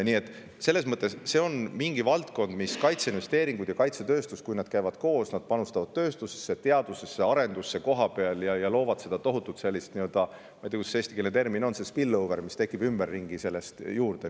Nii et see on valdkond, kus kaitseinvesteeringud ja kaitsetööstus käivad koos, nad panustavad tööstusesse, teadusesse ja arendusse kohapeal ning loovad seda tohutut sellist – ma ei tea, kuidas see eestikeelne termin on – spillover'it, mis tekib ümberringi sellest juurde.